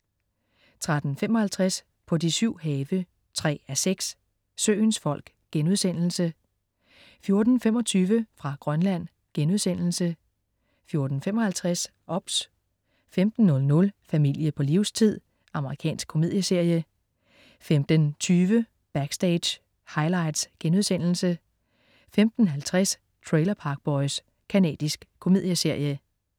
13.55 På de syv have 3:6. Søens folk* 14.25 Nyheder fra Grønland* 14.55 OBS 15.00 Familie på livstid. Amerikansk komedieserie 15.20 Backstage: Highlights* 15.50 Trailer Park Boys. Canadisk komedieserie